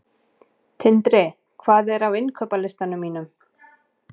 Tindri, hvað er á innkaupalistanum mínum?